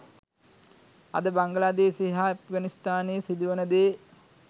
අද බංගලාදේශයේ හා ඇෆ්ගනිස්ථානයේ සිදුවෙන දේ